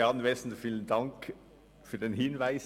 Vielen Dank für den Hinweis.